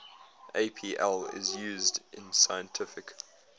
apl is used in scientific